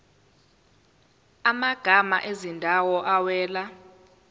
amagama ezindawo awela